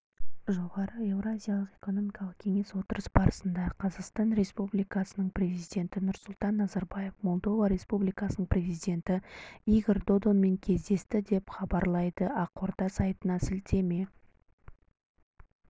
жоғары еуразиялық экономикалық кеңес отырысы барысында қазақстан президенті нұрсұлтан назарбаев молдова республикасының президенті игорь додонмен кездесті деп хабарлайды ақорда сайтына сілтеме